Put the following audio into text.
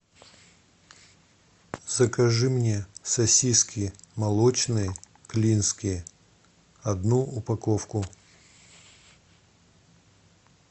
закажи мне сосиски молочные клинские одну упаковку